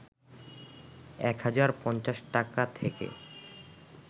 ১হাজার ৫০ টাকা থেকে